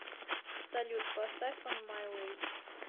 салют поставь он май вей